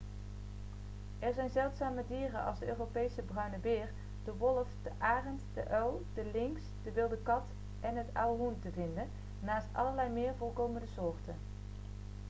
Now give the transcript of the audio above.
er zijn zeldzame dieren als de europese bruine beer de wolf de arend de uil de lynx de wilde kat en het auerhoen te vinden naast allerlei meer voorkomende soorten